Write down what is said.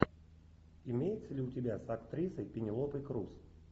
имеется ли у тебя с актрисой пенелопой крус